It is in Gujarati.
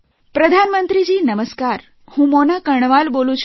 પ્રધાનમંત્રી નમસ્કાર હું મોના કર્ણવાલ બોલું છું